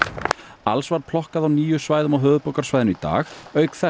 alls var plokkað á níu svæðum á höfuðborgarsvæðinu í dag auk þess